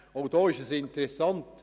Auch hier ist es interessant: